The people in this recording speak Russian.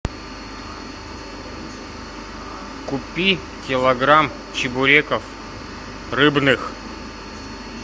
купи килограмм чебуреков рыбных